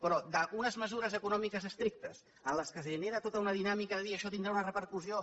però d’unes mesures econòmiques estrictes en què es genera tota una dinàmica de dir això tindrà una repercussió